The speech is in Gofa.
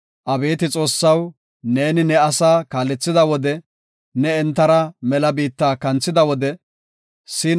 Abeeti Xoossaw, neeni ne asaa kaalethida wode, ne entara mela biitta kanthida wode, Salaha